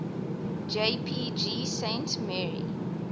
jpg saint mary